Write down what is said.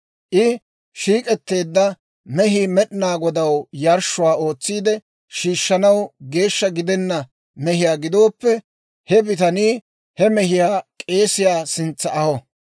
I shiik'etteedda mehii Med'inaa Godaw yarshshuwaa ootsiide shiishshanaw geeshsha gidenna mehiyaa gidooppe, he bitanii he mehiyaa k'eesiyaa sintsa aho.